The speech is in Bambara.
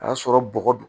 A y'a sɔrɔ bɔgɔ don